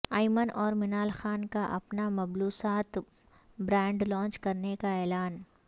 ایمن اور منال خان کا اپنا ملبوسات کا برانڈ لانچ کرنے کا اعلان